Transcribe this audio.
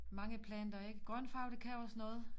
Mange planter ikke grøn farve det kan også noget